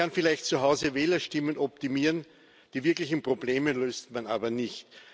Man kann vielleicht zu Hause Wählerstimmen optimieren, die wirklichen Probleme löst man aber nicht.